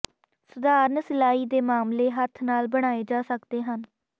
ਸਧਾਰਨ ਸਿਲਾਈ ਦੇ ਮਾਮਲੇ ਹੱਥ ਨਾਲ ਬਣਾਏ ਜਾ ਸਕਦੇ ਹਨ